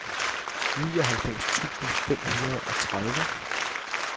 nioghalvfems tusind fem hundrede og tredive